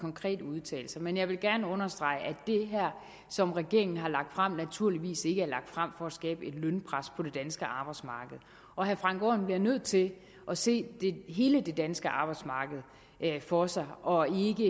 konkrete udtalelser men jeg vil gerne understrege at det som regeringen har lagt frem her naturligvis ikke er lagt frem for at skabe et lønpres på det danske arbejdsmarked og herre frank aaen bliver nødt til at se hele det danske arbejdsmarked for sig og ikke